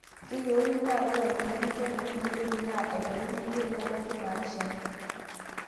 Keyieuni naa ore emunyani teina kulupuoni naa aiteru imiet nebaiki naapishana.